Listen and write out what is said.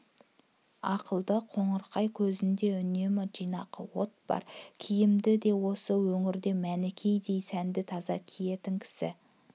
ақылды қоңырқай көзінде үнемі жинақты от бар киімді де осы өңірде мәнікедей сәнді таза киетін кісі